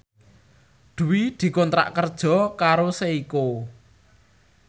Dwi dikontrak kerja karo Seiko